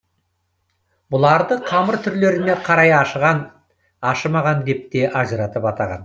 бұларды қамыр түрлеріне қарай ашыған ашымаған деп те ажыратып атаған